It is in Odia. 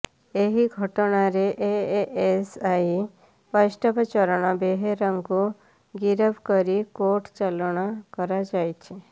ଏହି ଘଟଣାରେ ଏଏସ୍ଆଇ ବୈଷ୍ଣବ ଚରଣ ବେହେରାଙ୍କୁ ଗିରଫ କରି କୋର୍ଟ ଚାଲାଣ କରାଯାଇଛି